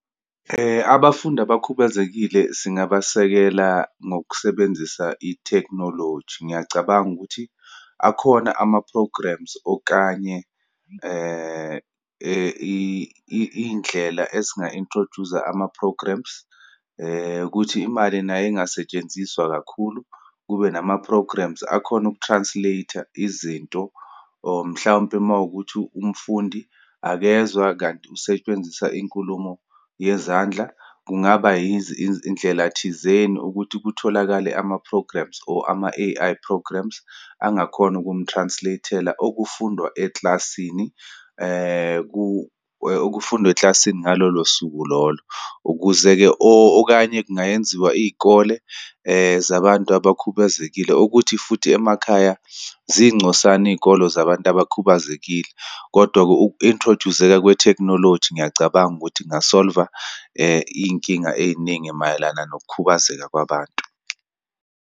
Abafundi abakhubazekile singabasekela ngokusebenzisa itekhinoloji. Ngiyacabanga ukuthi, akhona ama-programs okanye iyindlela ezinga-introduce-a ama-programs, ukuthi imali nayo ingasetshenziswa kakhulu. Kube nama-programs akhona uku-translate-a izinto, or mhlawumpe uma wukuthi umfundi akezwa kanti kusetshenziswa inkulumo yezandla, kungaba yindlela thizeni ukuthi kutholakale ama-programs or ama-A_I programs angakhona ukum-translate-ela okufundwa ekilasini, okufundwa ekilasini ngalolo suku lolo, ukuze-ke, or okanye kungayenziwa iyikole zabantu abakhubazekile, ukuthi futhi emakhaya ziyincosana iyikolo zabantu abakhubazekile. Kodwa-ke uku-introduce-zeka kwetekhinoloji, ngiyacabanga ukuthi kunga-solve-a iyinkinga eyiningi mayelana nokukhubazeka kwabantu.